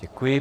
Děkuji.